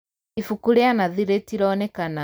Ibuku rīa Nathi rītinonekana